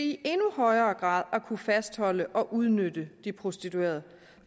i endnu højere grad at kunne fastholde og udnytte de prostituerede